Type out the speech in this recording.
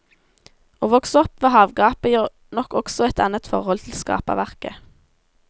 Å vokse opp ved havgapet gir nok også et annet forhold til skaperverket.